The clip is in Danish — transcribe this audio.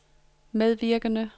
medvirkende